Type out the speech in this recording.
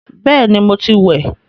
Bẹẹni, mo ti wẹ̀